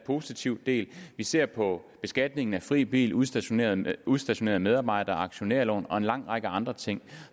positiv del vi ser på beskatningen af fri bil udstationerede udstationerede medarbejdere aktionærlån og en lang række andre ting